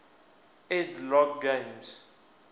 ed logg games